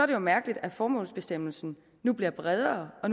det jo mærkeligt at formålsbestemmelsen nu bliver bredere og